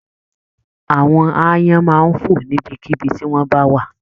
Àwọn aáyán máa n fo níbikíbi ti wọn ba wa